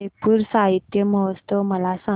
जयपुर साहित्य महोत्सव मला सांग